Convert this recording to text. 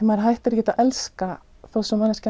maður hættir ekki að elska þó að manneskjan